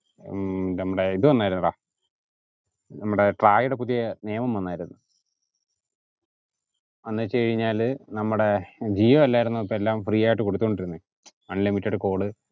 ഉം നമ്മടെ ഇത് വന്നായിരുഡാ നമ്മടെ ട്രായുടെ പുതിയ നിയമം വന്നായിരുന്ന് എന്ന് വെച് കഴിന്നാൽ നമ്മടെ ജിയോ അല്ലായിരുന്നോ ഇപ്പം എല്ലാം free ആയിട്ട് കൊടുത്തോണ്ട് ഇരിന്നെ unlimited call